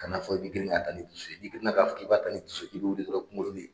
Kan'a fɔ i bɛ girin ka taa ni dusu ye n'i girinna k'a fɔ k'i b'a ta ni dusu ye dɔrɔn i kunkolo bi